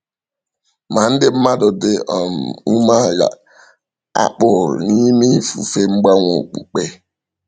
Ma ndị mmadụ dị um umeala a kpụrụ n’ime ifufe mgbanwe okpukpe.